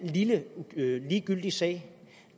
lille ligegyldig sag